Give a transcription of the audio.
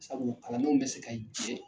Sabu kalandenw bɛ se ka jɛn.